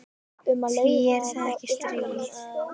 Því það er ekkert stríð.